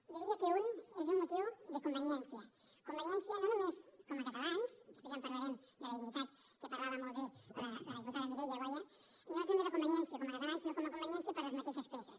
jo diria que un és un motiu de conveniència conveniència no només com a catalans després ja en parlarem de la dignitat de què parlava molt bé la diputada mireia boya no és només la conveniència com a catalans sinó com a conveniència per les mateixes peces